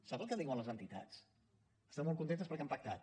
sap el que diuen les entitats estan molt contentes perquè han pactat